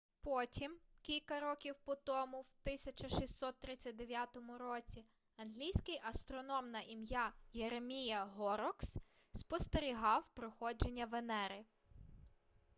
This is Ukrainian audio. потім кілька років по тому в 1639 році англійський астроном на ім'я єремія горрокс спостерігав проходження венери